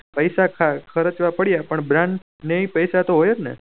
પેસા ખર્ચ્યા પડ્યા પણ બ્રાંડ ની પેસા તો જ હોવે ને